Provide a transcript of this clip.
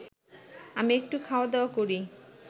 আমি একটু খাওয়া দাওয়া করি